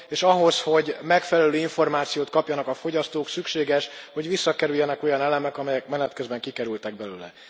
És ahhoz, hogy megfelelő információt kapjanak a fogyasztók, szükséges, hogy visszakerüljenek olyan elemek, amelyek menet közben kikerültek belőle.